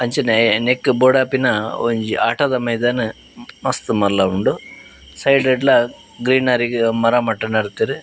ಅಂಚನೆ ನೆಕ್ಕ್ ಬೋಡಾಪಿನ ಒಂಜಿ ಆಟದ ಮೈದಾನ ಮಸ್ತ್ ಮಲ್ಲ ಉಂಡು ಸೈಡ್ ಡ್ಲ ಗ್ರೀನರಿಗ್ ಮರ ಮಟ್ಟ್ ನಡ್ತೆರ್.